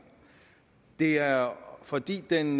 det er fordi den